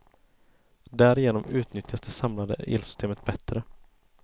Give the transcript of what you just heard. Därigenom utnyttjas det samlade elsystemet bättre.